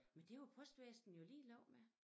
Men var postvæsenet jo ligeglad med